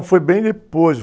Foi bem depois.